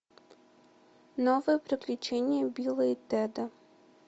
новые приключения билла и теда